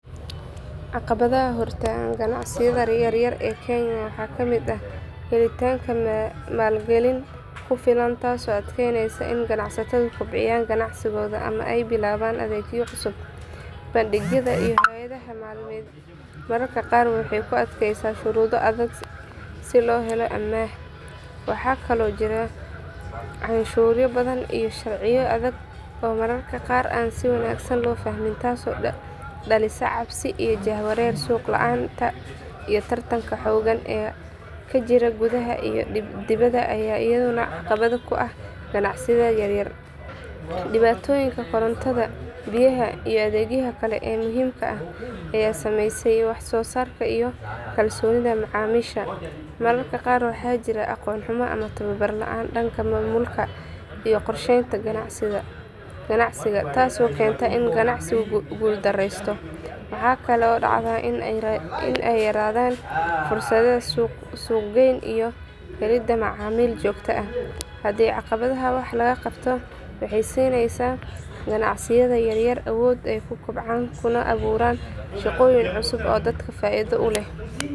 Caqabadaha hortaagan ganacsiyada yaryar ee kenya waxaa ka mid ah helitaanka maalgelin ku filan taasoo adkeynaysa in ganacsatadu kobciyaan ganacsigooda ama ay bilaabaan adeegyo cusub. Bangiyada iyo hay’adaha maaliyadeed mararka qaar waxay ku adkeeyaan shuruudo adag si loo helo amaah. Waxaa kaloo jira canshuuro badan iyo sharciyo adag oo mararka qaar aan si wanaagsan loo fahmin taasoo dhalisa cabsi iyo jahawareer. Suuq la’aanta iyo tartanka xooggan ee ka jira gudaha iyo dibadda ayaa iyaduna caqabad ku ah ganacsiyada yaryar. Dhibaatooyinka korontada, biyaha iyo adeegyada kale ee muhiimka ah ayaa saameeya wax soo saarka iyo kalsoonida macaamiisha. Mararka qaar waxaa jira aqoon xumo ama tababar la’aan dhanka maamulka iyo qorsheynta ganacsiga taasoo keenta in ganacsigu guuldareysto. Waxaa kaloo dhacda in ay yaraadaan fursadaha suuq geyn iyo helidda macaamiil joogto ah. Haddii caqabadahan wax laga qabto waxay siinaysaa ganacsiyada yaryar awood ay ku kobcaan kuna abuuraan shaqooyin cusub oo dalka faa’iido u leh.